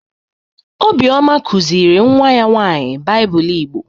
Obioma kuziri nwa ya nwaanyị Baịbụl Igbo.